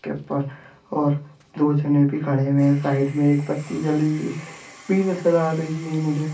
के ऊपर और दो जने भी खड़े हुए है साइड मे एक बत्ती जली हुई भी नजर आ रही है मुझे--